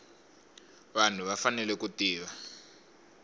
vanhu va fanele ku tiva